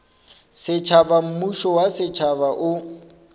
setšhaba mmušo wa setšhaba o